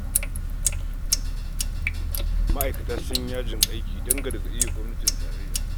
Ma'aikatu sun yi yajin aiki don gargaɗi ga gwamnatin tarayya